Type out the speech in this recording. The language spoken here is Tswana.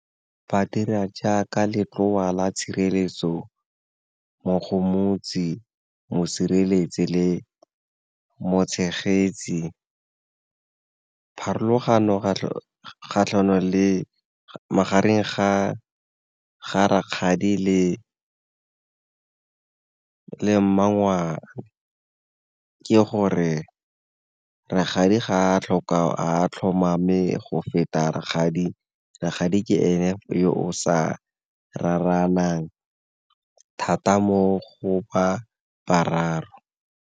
Ba dira jaaka letloa la tshireletso, mogomotsi, mosireletsi le mo tshegetsi. Pharologano magareng ga rakgadi le mmangwane ke gore rakgadi ga a tlhomame go feta rakgadi, rakgadi ke ene yo o sa raranang thata mo go ba bararo.